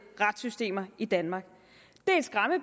retssystemer i danmark